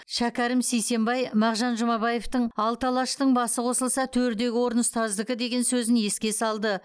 шәкәрім сейсембай мағжан жұмабаевтың алты алаштың басы қосылса төрдегі орын ұстаздікі деген сөзін еске салды